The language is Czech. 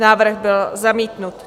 Návrh byl zamítnut.